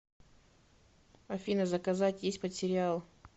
афина заказать есть под сериал